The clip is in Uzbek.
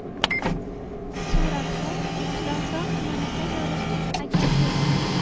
Suratda Chilonzor tumanida joylashgan agentlik.